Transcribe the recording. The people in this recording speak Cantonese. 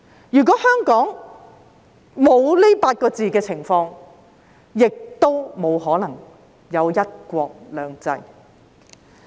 如果香港沒有這8個字所述的情況，也沒可能有"一國兩制"。